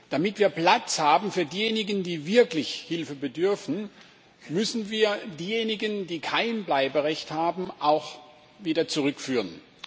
Damit wir Platz haben für diejenigen, die wirklich der Hilfe bedürfen, müssen wir diejenigen, die kein Bleiberecht haben, auch wieder zurückführen.